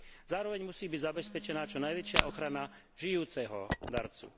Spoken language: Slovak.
Zároveň musí byť zabezpečená čo najväčšia ochrana žijúceho darcu.